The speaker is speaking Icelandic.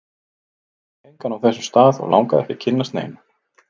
Ég þekkti engan á þessum stað, og langaði ekki að kynnast neinum.